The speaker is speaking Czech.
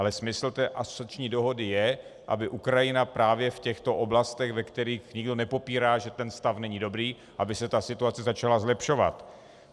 Ale smysl té asociační dohody je, aby Ukrajina právě v těchto oblastech, ve kterých nikdo nepopírá, že ten stav není dobrý, aby se ta situace začala zlepšovat.